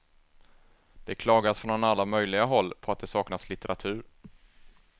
Det klagas från alla möjliga håll på att det saknas litteratur.